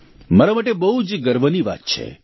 મારા માટે બહુ જ ગર્વની વાત છે